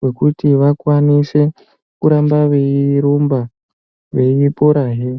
wekuti vakwanise kuramba veyi rumba vei pora hee.